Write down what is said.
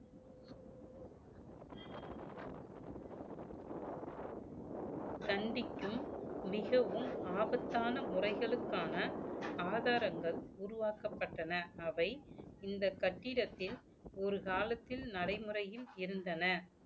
சந்திக்கும் மிகவும் ஆபத்தான முறைகளுக்கான ஆதாரங்கள் உருவாக்கப்பட்டன அவை இந்த கட்டிடத்தில் ஒரு காலத்தில் நடைமுறையில் இருந்தன